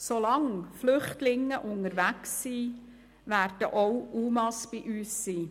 Solange Flüchtlinge unterwegs sind, werden auch UMA bei uns sein.